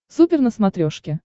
супер на смотрешке